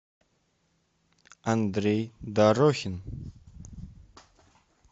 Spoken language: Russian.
андрей дорохин